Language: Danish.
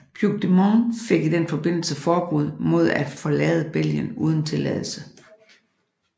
Puigdemont fik i den forbindelse forbud mod at forlade Belgien uden tilladelse